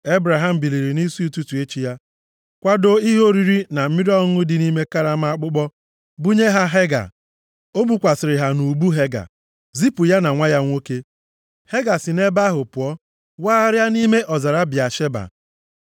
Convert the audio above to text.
Ebraham biliri nʼisi ụtụtụ echi ya, kwadoo ihe oriri na mmiri ọṅụṅụ nke dị nʼime karama akpụkpọ, bunye ha Hega. O bukwasịrị ha nʼubu Hega, zipụ ya na nwa ya nwoke. Hega si nʼebe ahụ pụọ wagharịa nʼime ọzara Bịasheba.